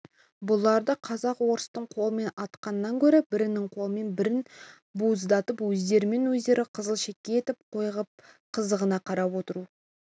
бұларды казак-орыстың қолымен атқаннан гөрі бірінің қолымен бірін бауыздатып өздерімен өздерін қызыл шеке етіп қойып қызығына қарап отыру